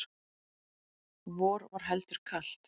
vor var heldur kalt